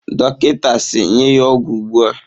Dọkịta si, nye ya ọgwụ ugbu a!